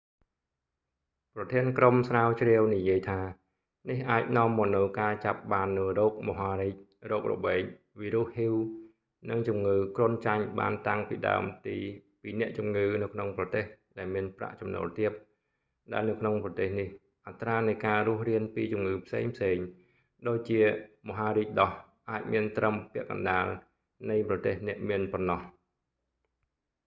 ប្រធានក្រុមស្រាវជ្រាវនិយាយថា នេះអាចនាំមកនូវការចាប់បាននូវរោគមហារីក រោគរបេង វីរុស hiv និងជំងឺគ្រុនចាញ់បានតាំងពីដើមទីពីអ្នកជំងឺនៅក្នុងប្រទេសដែលមានប្រាក់ចំណូលទាប ដែលនៅក្នុងប្រទេសនេះ អត្រានៃការរស់រានពីជំងឺផ្សេងៗ ដូចជាមហារីកដោះ អាចមានត្រឹមពាក់កណ្ដាលនៃប្រទេសអ្នកមានប៉ុណ្ណោះ